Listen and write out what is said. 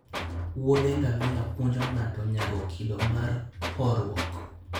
wuodhe ngamia puonjo ng'ato nyago kido mar horuok